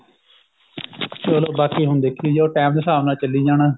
ਚਲੋ ਬਾਕੀ ਹੁਣ ਦੇਖੀ ਜਾਉ time ਦੇ ਹਿਸਾਬ ਨਾਲ ਚੱਲੀ ਜਾਣਾ